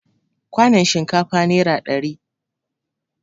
Kwanon shinkafa nera ɗari